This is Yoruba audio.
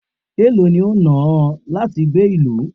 èló ni o náà ọ láti gbé ìlú?